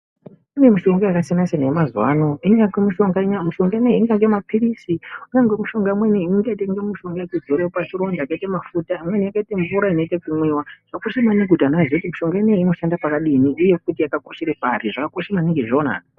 Kune mushonga wakasiyana siyana wemazuva ano Mishinga ingaite mapirizi kune mishonga imweni yekuzora pachironda yakaita mafuta imweni yakaita mvura yakaita kumwiwa yekuti vana vanoziva kuti imvura yakadii uye futi yakakoshera pari.